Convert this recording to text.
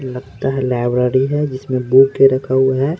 लगता है लाइब्रेरी है जिसमें बुक के रखा हुआ है।